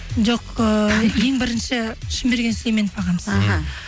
жоқ ыыы ең бірінші шынберген сүйлеменов ағамыз іхі